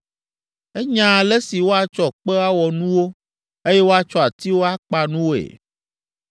Enya ale si woatsɔ kpe awɔ nuwo, eye woatsɔ atiwo akpa nuwoe.